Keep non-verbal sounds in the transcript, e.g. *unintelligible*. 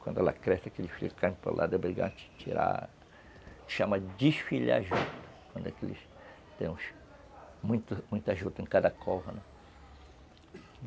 Quando ela cresce, aqueles filhos caem para o lado *unintelligible*